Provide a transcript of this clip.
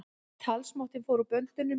Talsmátinn fór úr böndunum